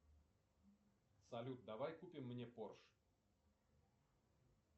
салют давай купим мне порше